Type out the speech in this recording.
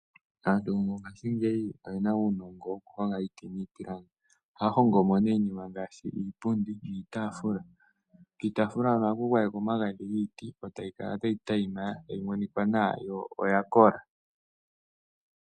Aantu mongashingeyi oye na uunongo wokuhonga iiti niipilangi. Ohaya hongo mo nee iipundi niitaafula. Kiitafula hono ohaku gwaye kwa omagadhi giiti e tayi kala tayi tayima tayi monika nawa yo oyakola.